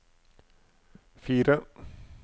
fire